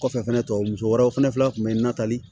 Kɔfɛ fɛnɛ tɔ muso wɛrɛw fɛnɛ kun be n na tali